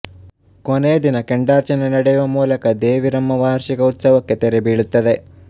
ಕೊನೆಯ ದಿನ ಕೆಂಡಾರ್ಚನೆ ನಡೆಯುವ ಮೂಲಕ ದೇವಿರಮ್ಮ ವಾರ್ಷಿಕ ಉತ್ಸವಕ್ಕೆ ತೆರೆ ಬೀಳುತ್ತದೆ